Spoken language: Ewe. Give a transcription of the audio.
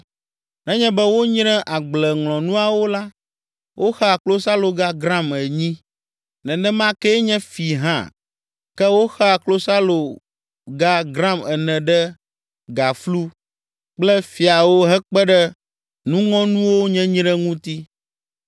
Nenye be wonyre agbleŋlɔnuawo la, woxea klosaloga gram enyi, nenema kee nye fi hã, ke woxea klosaloga gram ene ɖe gaflu kple fiawo hekpe ɖe nuŋɔnuwo nyenyre ŋuti.